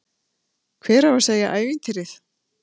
Hver á að segja ævintýrið?